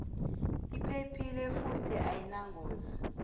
iphephile futhi ayinangozi